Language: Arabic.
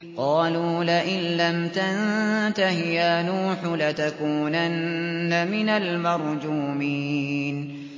قَالُوا لَئِن لَّمْ تَنتَهِ يَا نُوحُ لَتَكُونَنَّ مِنَ الْمَرْجُومِينَ